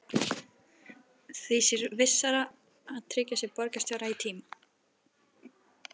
Því sé vissara að tryggja sér borgarstjóra í tíma.